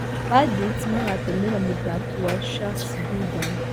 Bandits magatũmĩra mũthaki wa Sharks, Bidan.